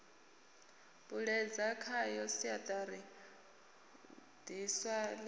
puṱedza khayo siaṱari ḽiswa ḽi